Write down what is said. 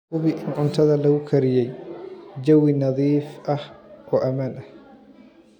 Hubi in cuntada lagu kariyey jawi nadiif ah oo ammaan ah.